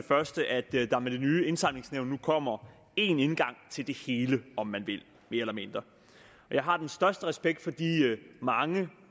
første at der med det nye indsamlingsnævn nu kommer én indgang til det hele om man vil mere eller mindre jeg har den største respekt for de mange